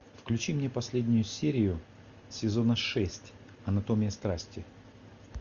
включи мне последнюю серию сезона шесть анатомия страсти